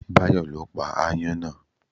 Báyọ̀ ló pa ááyán náà